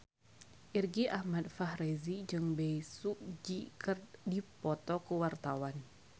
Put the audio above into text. Irgi Ahmad Fahrezi jeung Bae Su Ji keur dipoto ku wartawan